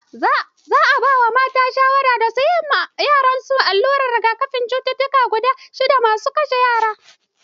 Za a ba mata shawara da suyi ma yaran su allurar rigakafin cututtukan nan guda shidda masu kashe yara.